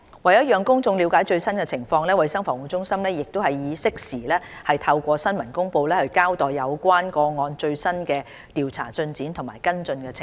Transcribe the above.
為讓公眾了解最新情況，衞生防護中心已適時透過新聞公布，交代有關個案的最新調查進展及跟進情況。